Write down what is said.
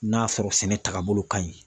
N'a sɔrɔ sɛnɛ taagabolo ka ɲi.